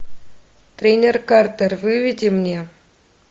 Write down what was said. тренер картер выведи мне